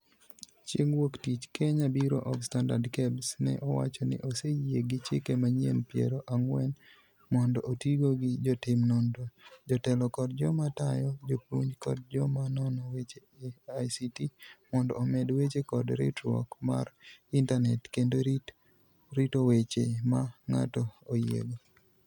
Chieng' Wuok Tich, Kenya Bureau of Standards (KEBS) ne owacho ni oseyie gi chike manyien piero ang'wen (40) mondo otigo gi jotim nonro, jotelo kod joma tayo, jopuonj kod joma nono weche e ICT mondo omed weche kod ritruok mar intanet kendo rito weche ma ng'ato oyiego.